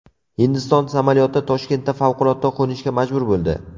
Hindiston samolyoti Toshkentda favqulodda qo‘nishga majbur bo‘ldi.